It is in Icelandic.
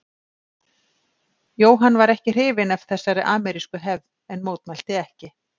Jóhann var ekki hrifinn af þessari amerísku hefð en mótmælti ekki.